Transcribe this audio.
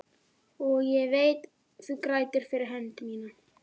Og ég veit þú grætur fyrir mína hönd.